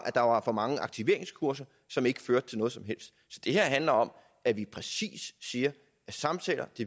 at der var for mange aktiveringskurser som ikke førte til noget som helst så det her handler om at vi præcis siger at samtaler